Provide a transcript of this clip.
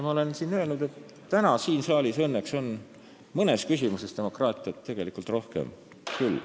Ma olen öelnud, et täna siin saalis õnneks on mõnes küsimuses demokraatiat tegelikult rohkem küll.